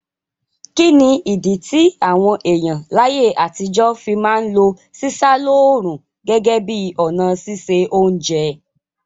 Kíni ìdí ti àwon èyàn láyé àtijọ́ fi ma n lo sísá lóòrùn gẹ́gẹ́ bi ọ̀nà sise ounje